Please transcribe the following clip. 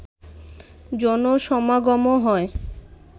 জনসমাগমও হয়